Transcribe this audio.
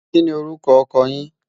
kí ní orúkọ ọkọ yín?